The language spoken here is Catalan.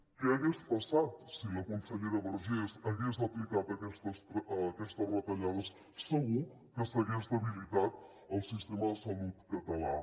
què hagués passat si la consellera vergés hagués aplicat aquestes retallades segur que s’hagués debilitat el sistema de salut català